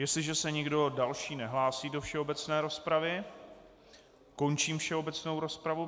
Jestliže se nikdo další nehlásí do všeobecné rozpravy, končím všeobecnou rozpravu.